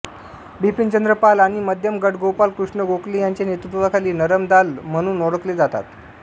बिपिनचंद्र पालआणि मध्यम गटगोपाळ कृष्ण गोखले यांच्या नेतृत्वाखाली नरम दाल म्हणून ओळखले जातात